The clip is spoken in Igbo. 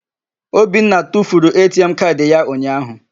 Obinna tufuru ATM kaadị ya unyaahụ.